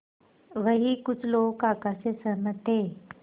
वहीं कुछ लोग काका से सहमत थे